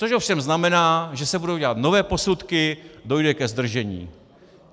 Což ovšem znamená, že se budou dělat nové posudky, dojde ke zdržení.